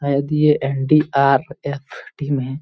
शायद ये NDRF. Team है।